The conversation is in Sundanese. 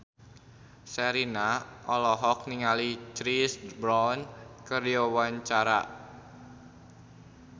Sherina olohok ningali Chris Brown keur diwawancara